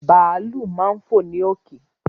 Bàálù máa ń fò ní òkè